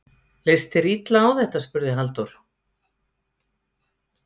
Leist þér illa á þetta? spurði Halldór.